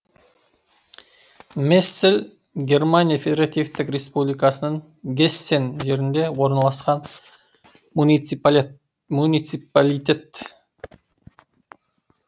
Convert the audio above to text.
мессель германия федеративтік республикасының гессен жерінде орналасқан муниципалитет